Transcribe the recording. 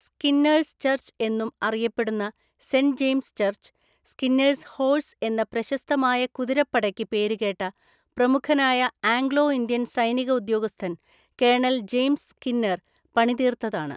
Skinner's church എന്നും അറിയപ്പെടുന്ന saint James church, Skinner's horse എന്ന പ്രശസ്തമായ കുതിരപ്പടയ്ക്ക് പേരുകേട്ട, പ്രമുഖനായ ആംഗ്ലോ ഇന്ത്യൻ സൈനിക ഉദ്യോഗസ്ഥൻ കേണൽ ജെയിംസ് സ്‌കിന്നർ പണിതീർത്തതാണ്.